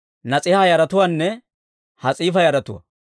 Nas'iiha yaratuwaanne Has'iifa yaratuwaa.